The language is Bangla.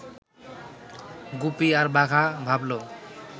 গুপি আর বাঘা ভাবল